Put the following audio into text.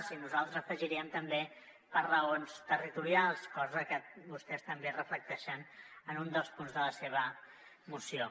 i nosaltres afegiríem també per raons territorials cosa que vostès també reflecteixen en un dels punts de la seva moció